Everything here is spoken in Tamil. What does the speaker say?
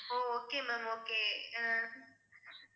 O okay ma'am okay ah